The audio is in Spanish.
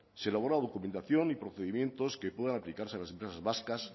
se logró documentación y procedimientos que puedan aplicarse a las empresas vascas